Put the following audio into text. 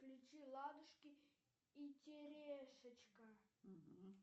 включи ладушки и терешечка